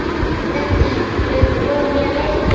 Dendý, hefur þú prófað nýja leikinn?